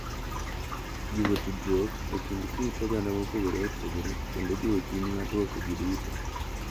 Jiwo tudruok e kind kit oganda mopogore opogore kendo jiwo chuny mar rwako ji duto.